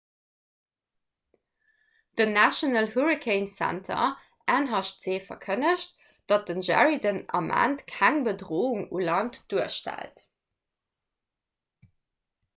den national hurricane center nhc verkënnegt datt den jerry den ament keng bedroung u land duerstellt